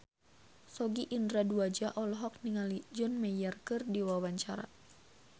Sogi Indra Duaja olohok ningali John Mayer keur diwawancara